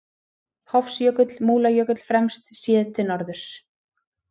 Hofsjökull, Múlajökull fremst, séð til norðurs.